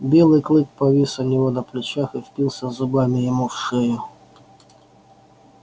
белый клык повис у него на плечах и впился зубами ему в шею